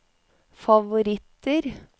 favoritter